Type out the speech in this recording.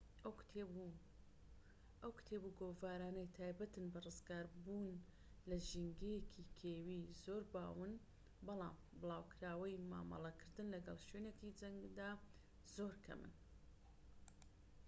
ئەو کتێب و گۆڤارانەی تایبەتن بە ڕزگاربوون لە ژینگەیەکی کێوی زۆر باون بەڵام بڵاوکراوەی مامەڵەکردن لەگەل شوێنێکی جەنگدا زۆر کەمن